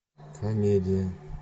комедия